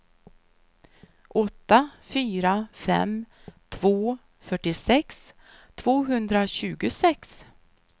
åtta fyra fem två fyrtiosex tvåhundratjugosex